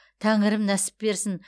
тәңірім нәсіп берсін